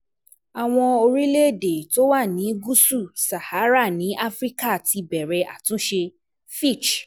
Àwọn Orílẹ̀-èdè tó wà ní gúúsù Sahara ní Áfíríkà ti bẹ̀rẹ̀ àtúnṣe Fitch